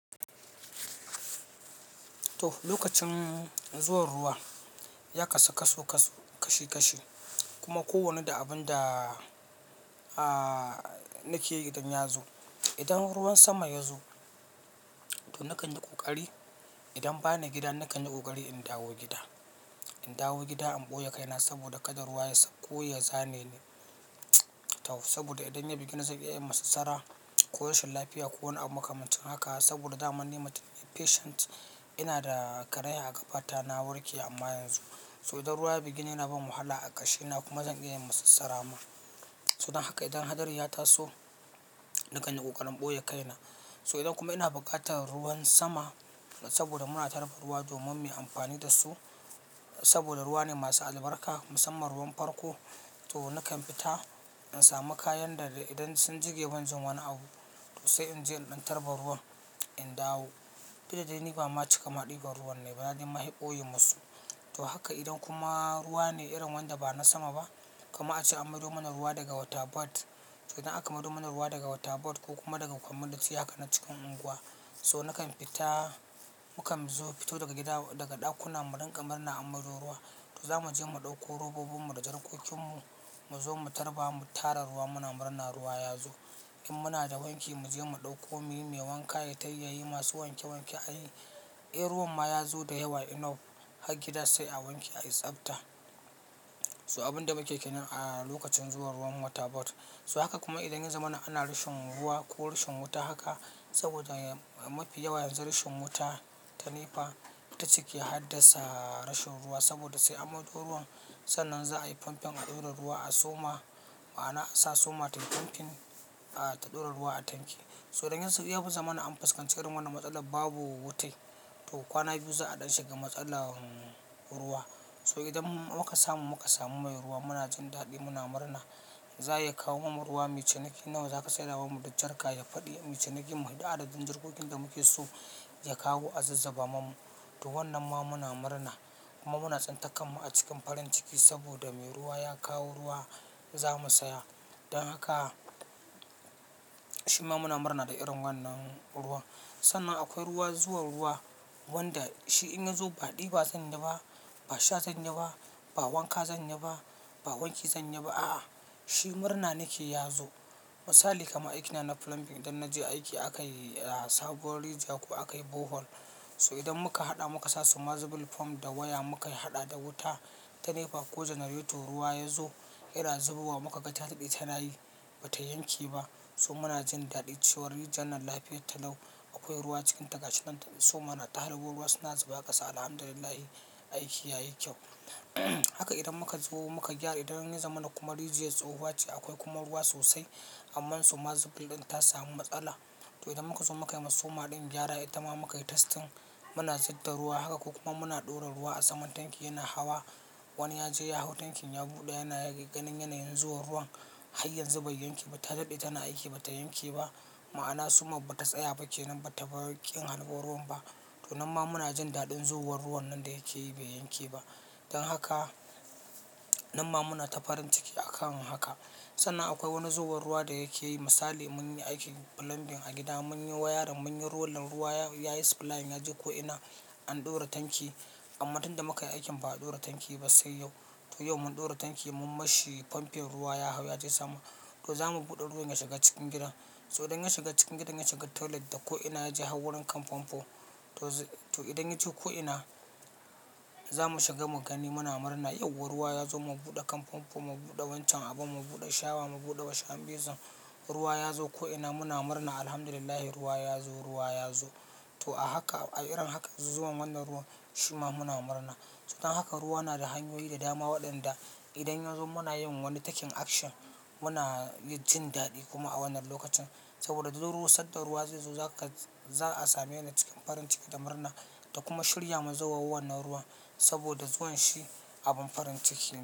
To, lokacin zuwan ruwa ya kasu kaso kaso kashi kashi kuma ko wanne da abin da a nake yi idan ya zo. Idan ruwan sama ya zo to nakan yi ƙoƙari. Idan bani gida, nakan yi ƙoƙari in dawo gida. In dawo gida in ɓoye kaina saboda kada ruwa ya sauko ya zane ni. Tau saboda idan ya bige ni, zan iya yin masassara ko rashin lafiya ko wani abu makamancin haka. Saboda daman ni mutum ne patient ina da karaya a ƙafa ta na warke amma yanzu. So idan ruwa ya bige ni yana bani wahala a ƙashi na kuma zan iya yin masassara ma. So dan haka idan hadari ya taso, nakan yi ƙoƙarin ɓoye kaina. So idan kuma ina buƙatar ruwan sama saboda muna tarba ruwa domin mu yi amfani da su saboda ruwa ne masu albarka musamman ruwan farko. To nakan fita in sami kayan da da idan sun jiƙe banjin wani abu to sai in je in ɗan tarba ruwan, in dawo. Duk da dai ni ba ma cika ɗiban ruwan nayi ba na dai fi ɓoye musu. To haka idan kuma ruwa ne irin wanda ba na sama ba kaman ace an maido mana ruwa daga Water Board. Idan aka maido mana ruwa daga Water Board ko kuma daga community haka na cikin unguwa. So nakan fita, mukan zo fito daga gida daga ɗakuna mu rinƙa murna an maido ruwan to za mu je mu ɗauko robobin mu da jarkokin mu, mu zo mu tarba, mu tara ruwa. Muna murna ruwa ya zo. In muna da wanki, mu je mu ɗauko muyi mai wanka, ya tai yayi masu wanke wanke. Ai, in ruwan ma ya zo da yawa enough har gida sai a wanke, a yi tsabta. So abin da muke kenan a lokacin zuwan ruwan Water Board. So haka kuma idan yan zamana ana rashin ruwa ko rashin wuta haka saboda mafi yawa yanzu rashin wuta ta nepa ita take haddasa rashin ruwa saboda sai an maido ruwan. Sannan za a yi pumping a ɗora ruwa a summer ma'ana a sa summer tayi pumping ah, ta ɗora ruwa a tanki. So idan yas ya zamana an fuskanci irin wannan matsala babu wutai to kwana biyu za a ɗan shiga matsalar ruwa. So idan muka samu muka samu mai ruwa muna jin daɗi, muna murna. Zaya kawo mana ruwa muyi cinikin nawa zaka saida mana da jarka ya faɗi muyi ciniki mu faɗi adadin jarkokin da muke so ya kawo a zuzzuba mana. To wannan ma muna murna kuma muna tsintar kanmu a cikin farin ciki saboda me ruwa ya kawo ruwa za mu saya. Dan haka shi ma muna murna da irin wannan ruwan. Sannan akwai ruwa zuwan ruwa wanda shi in ya zo ba ɗiba zan yi ba, ba sha zan yi ba, ba wanka zan yi ba, ba wanki zan yi ba. A'a, shi murna nake ya zo. Misali kamar aikina na plumbing idan na je aiki aka yi a Sabuwar Rijiya ko aka yi Borehole. So idan muka haɗa muka sa sumazibil fom da waya muka yi haɗa da wuta ta nepa ko generator ruwa ya zo, yana zubo wa muka ga ta ɗade tana yi ba ta yanke ba. So muna jin daɗi, cewar rijiyar nan lafiyar ta lau. Akwai ruwa cikinta gashi nan summer na ta halbo ruwa suna zuba ƙasa. Alhamdulillah aiki yayi kyau. Haka idan muka zo muka gyara. Idan ya zamana kuma rijiyar tsohuwa ce akwai kuma ruwa sosai. Amma sumazibil ɗin ta samu matsala. To idan muka zo muka yi ma summer ɗin gyara ita ma muka yi testing muna zubda ruwa haka ko kuma muna ɗora ruwa a saman tanki yana hawa. Wani ya je ya hau tankin ya buɗe yana ya ga ganin yanayin zuwan ruwan. Har yanzu bai yanke ba, ta daɗe tana aiki ba ta yanke ba. Ma'ana summer bata tsaya ba kenan bata bar ƙin harbo ruwan ba. To nan ma muna jin daɗin zuwar ruwan nan da yake yi bai yanke ba. Dan haka nan ma muna ta farin ciki a kan haka. Sannan akwai wani zowan ruwa da yake yi. Misali mun yi aikin plumbing a gida mun yi wiring mun yi rolling, ruwa ya yayi supplying yaje ko'ina an ɗora tanki. Amma tun da muka yi aikin ba a ɗora tanki ba sai yau. To yau mun ɗora tanki mun mashi pumping ruwa ya hau yaje sama. To za mu buɗe ruwan ya shiga cikin gidan. So idan ya shiga cikin gidan, ya shiga toilet da ko'ina yaje har wurin kan famfo. To zai to idan yaje ko'ina za mu shiga mu gani muna murna. Yauwa ruwa ya zo mu buɗe kan famfo, mu buɗe wancan abun, mu buɗe shower, mu buɗe wash hand basin. Ruwa ya zo ko'ina muna murna. Alhamdulillah ruwa ya zo, ruwa ya zo. To a haka a irin haka zuwan wannan ruwan shi ma muna murna. So dan haka ruwa na da hanyoyi da dama waɗanda idan ya zo muna yin wani taking action muna yin jin daɗi kuma a wannan lokacin. Saboda zuwar ruwa sanda ruwa zai zo za ka za a same ni cikin farin ciki da murna da kuma shirya ma zowar wannan ruwan. Saboda zuwan shi abin farin ciki ne.